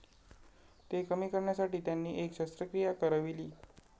ते कमी करण्यासाठी त्यांनी एक शस्त्रक्रिया करविली.